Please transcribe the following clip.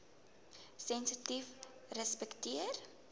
sensitiefrespekteer